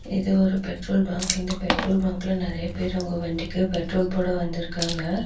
இது ஒரு petrol bunk இந்த பெட்ரோல் பங்க்ல நெறைய பேர் அவங்க வண்டிக்கு பெட்ரோல் போட வந்துருக்காங்க.